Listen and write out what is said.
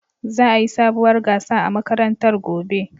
Za'a yi sabuwar gasa a makarantar gobe.